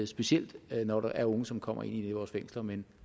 specielt når der er unge som kommer ind i vores fængsler men